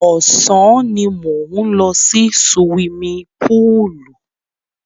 Ọ̀sán ni mò ń lọ sí suwimi púùlù.